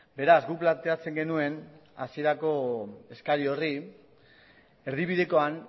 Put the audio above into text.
beraz guk planteatzen genuen hasierako eskari horri erdibidekoan